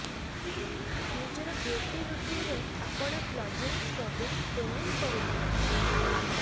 ନିଜର ବ୍ୟୁଟି ରୁଟିନ୍ରେ ଆପଣ କ୍ଲିଂଜିଂଙ୍ଗ ସ୍କ୍ରବିଂ ଟୋନିଂ କରୁଥିବେ